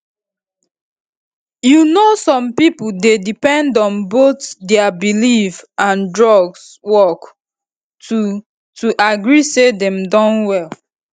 you know some pipo dey depend on both dia belief and drugs work to to agree say dem don well